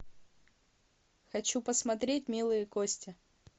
хочу посмотреть милые кости